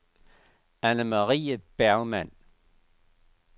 Annemarie Bergmann